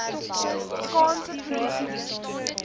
kaanse polisie diens